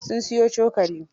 Sun siyo cokali.